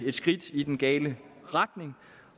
skridt i den gale retning